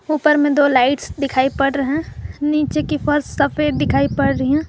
ऊपर में दो लाइट्स दिखाई पड़ रहे हैं नीचे की फर्श सफेद दिखाई पड़ रही हैं।